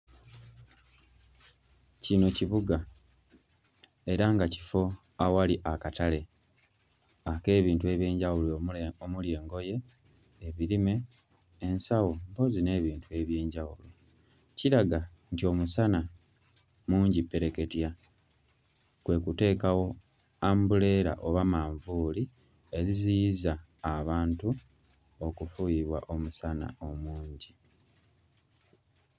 Kino kibuga era nga kifo ewali akatale ak'ebintu eby'enjawulo omuli engoye, ebirime, ensawo mpozzi n'ebintu eby'enjawulo. Kiraga nti omusana mungi ppereketya; kwe kuteekawo ambuleera oba manvuuli eziziyiza abantu okufuuyibwa omusana omungi.